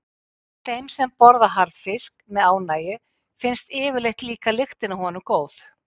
Þeim sem borða harðfisk með ánægju finnst yfirleitt líka lyktin af honum góð.